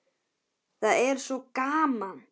Það er svo gaman.